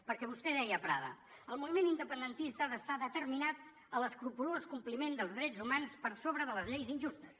perquè vostè deia a prada el moviment independentista ha d’estar determinat a l’escrupolós compliment dels drets humans per sobre de les lleis injustes